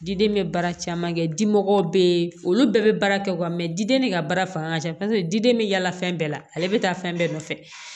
Diden bɛ baara caman kɛ dimɔgɔw bɛ olu bɛɛ bɛ baara kɛ diden de ka baara fanga ka ca paseke diden bɛ yala fɛn bɛɛ la ale bɛ taa fɛn bɛɛ nɔfɛ